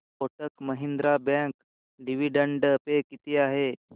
Kotak Mahindra bank dividend pay किती आहे